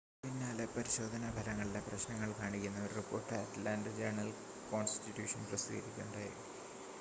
തൊട്ടുപിന്നാലെ പരിശോധനാ ഫലങ്ങളിലെ പ്രശ്നങ്ങൾ കാണിക്കുന്ന ഒരു റിപ്പോർട്ട് അറ്റ്ലാൻ്റ ജേണൽ-കോൺസ്റ്റിറ്റ്യൂഷൻ പ്രസിദ്ധീകരിക്കുകയുണ്ടായി